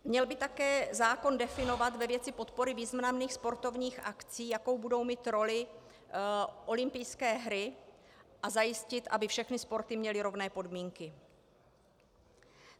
Měl by také zákon definovat ve věci podpory významných sportovních akcí, jakou budou mít roli olympijské hry, a zajistit, aby všechny sporty měly rovné podmínky.